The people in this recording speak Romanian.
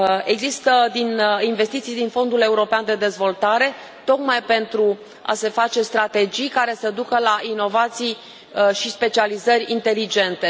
Există investiții din Fondul European de Dezvoltare tocmai pentru a se face strategii care să ducă la inovații și specializări inteligente.